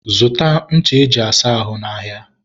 zụta ncha e ji asa ahụ n'ahịa.